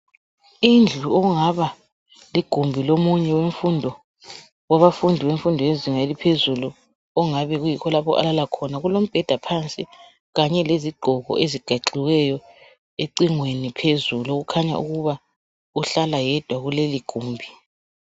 Indlu okungaba ligumbi lomunye wabafundi bemfundo yezinga eliphezulu okungabe kuyikho lapho alala khona kulombheda phansi Kanye lezigqoko ezibekiweyo ecingweni phezulu okukhanya ukuba uhlala yedwa kuleli gumbi